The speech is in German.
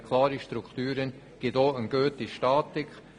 Klare Strukturen führen auch zu einer guten Statik.